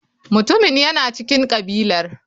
Mutumin yana cikin kabilar.